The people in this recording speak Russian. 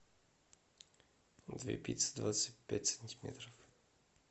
две пиццы двадцать пять сантиметров